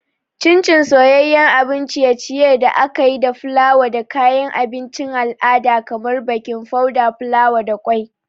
Chin Chin soyayyen abun ciye-ciye da aka yi da fulawa da kayan abincin al'ada kamar baking powder, fulawa, da kwai.